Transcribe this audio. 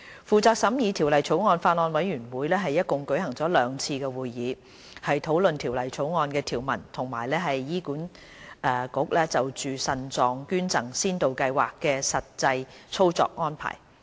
負責審議《條例草案》的法案委員會共舉行了兩次會議，討論《條例草案》的條文及醫院管理局就腎臟配對捐贈先導計劃的實際操作安排。